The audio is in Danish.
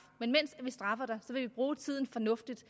men mens vi straffer dig vil vi bruge tiden fornuftigt